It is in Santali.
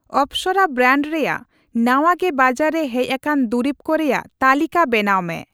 ᱟᱯᱥᱟᱨᱟ ᱵᱨᱮᱱᱰ ᱨᱮᱭᱟᱜ ᱱᱟᱣᱟ ᱜᱮ ᱵᱟᱡᱟᱨ ᱨᱮ ᱦᱮᱡ ᱟᱠᱟᱱ ᱫᱩᱨᱤᱵᱠᱚ ᱨᱮᱭᱟᱜ ᱛᱟᱹᱞᱤᱠᱟ ᱵᱮᱱᱟᱣ ᱢᱮ ᱾